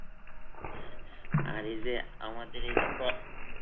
আর এই যে, আমাদের এই যে প্র